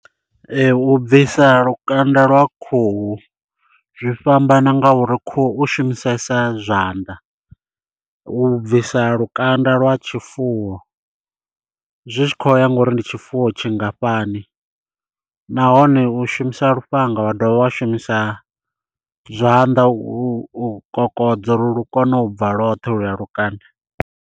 U bvisa lukanda lwa khuhu zwi fhambana nga uri khuhu u shumisesa zwanḓa. U bvisa lukanda lwa tshifuwo zwi tshi kho ya ngori ndi tshifuwo tshingafhani, nahone u shumisa lufhanga wa dovha wa shumisa zwanḓa u kokodza uri lu kone u bva lwothe ho luya lukanda.